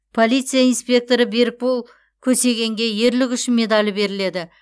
полиция инспекторы берікбол көксегенге ерлігі үшін медалі беріледі